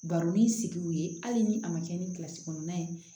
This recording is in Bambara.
Baro ni sigi ye hali ni a ma kɛ ni kilasi kɔnɔntɔn ye